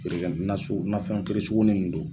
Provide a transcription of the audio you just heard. Feere kɛ nafɛn feerekɛ sugunin don.